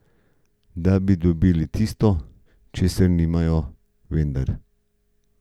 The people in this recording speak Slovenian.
Da bi dobili tisto, česar nimajo, vendar!